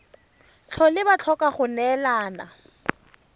tlhole ba tlhoka go neelana